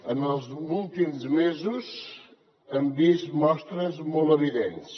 en els últims mesos n’hem vist mostres molt evidents